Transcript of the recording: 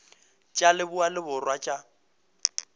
tša leboa le borwa tša